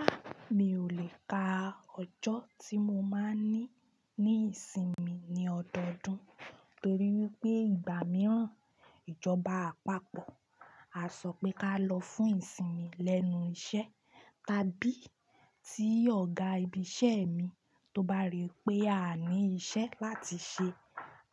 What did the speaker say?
A! Mi ò lè ka ọjọ́ tí mo máa n ní ní ìsinmi ní ọdọọdún, torí wípé ìgbà mìíràn ìjọba àpapọ̀ á sọ pé ká lọ fún ìsinmi lẹ́nu iṣẹ́, tàbí tí ọ̀gá ibi iṣẹ́ mi tó bá rí pé a ní iṣẹ́ láti ṣe,